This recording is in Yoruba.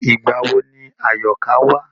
Ìgbà wo ni Àyọ̀ká wá?